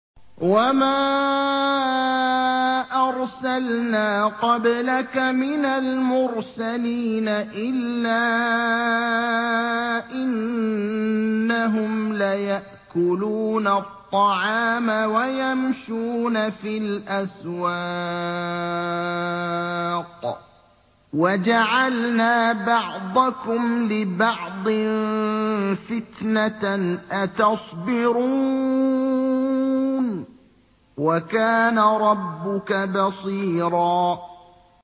وَمَا أَرْسَلْنَا قَبْلَكَ مِنَ الْمُرْسَلِينَ إِلَّا إِنَّهُمْ لَيَأْكُلُونَ الطَّعَامَ وَيَمْشُونَ فِي الْأَسْوَاقِ ۗ وَجَعَلْنَا بَعْضَكُمْ لِبَعْضٍ فِتْنَةً أَتَصْبِرُونَ ۗ وَكَانَ رَبُّكَ بَصِيرًا